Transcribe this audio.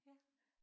Ja